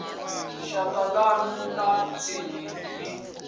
shaka ḽanu ḽa tsinisa ni